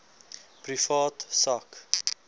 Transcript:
privaat sak